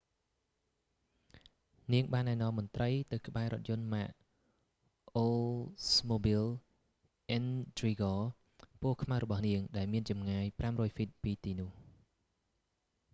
នាងបានណែនាំមន្រ្តីទៅក្បែររថយន្តម៉ាក អូលស្មូប៊ីល អ៊ិនទ្រីហ្គ oldsmobile intrigue ពណ៌ខ្មៅរបស់នាង ដែលមានចម្ងាយ 500ហ្វីត ពីទីនោះ